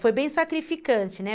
Foi bem sacrificante, né?